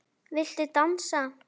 Viltu dansa?